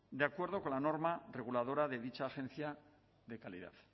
de acuerdo con la norma reguladora de dicha agencia de calidad